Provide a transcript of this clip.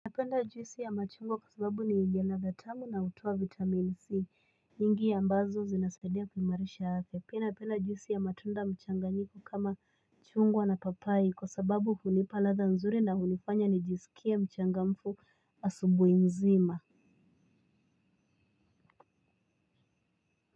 Napenda juisi ya machungwa kwa sababu ni yenye latha tamu na hutoa vitamin c nyingi ambazo zinasaidia kuimarisha afya pia napenda juisi ya matunda mchanganyiko kama chungwa na papai kwa sababu hunipa latha nzuri na hunifanya nijisikie mchangamfu asubuhi nzima.